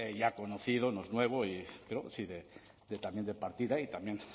ya conocido no es nuevo pero también de partida y también